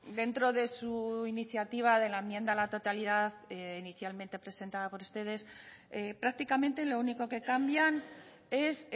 dentro de su iniciativa de la enmienda a la totalidad inicialmente presentada por ustedes prácticamente lo único que cambian es